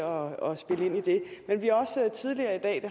og med at